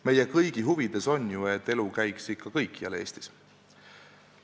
Meie kõigi huvides on ju, et elu käiks ikka kõikjal Eestis.